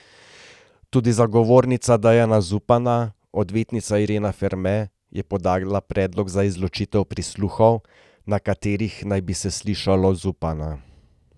Tudi zagovornica Dejana Zupana, odvetnica Irena Ferme, je podala predlog za izločitev prisluhov, na katerih naj bi se slišalo Zupana.